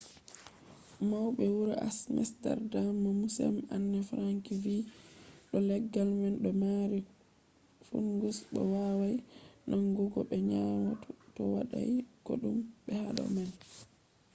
maube wuro amsterdam be museum anne frank vi do leggal man do mari fungus bo wawai nangugo be nyawu to wadai kodume hado man